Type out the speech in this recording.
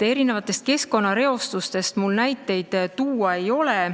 Keskkonnareostuse kohta mul näiteid tuua ei ole.